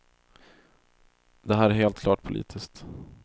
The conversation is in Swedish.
Det här är helt klart politiskt.